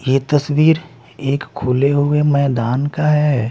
ये तस्वीरएक खुले हुए मैदान का हैं।